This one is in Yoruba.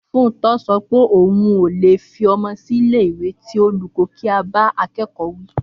Fúntọ sọ pé òun ò lè fi ọmọ sílé ìwé tí olùkọ́ kì í bá akẹ́kọ̀ọ́ wí